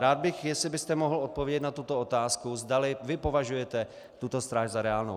Rád bych, jestli byste mohl odpovědět na tuto otázku, zdali vy považujete tuto stráž za reálnou.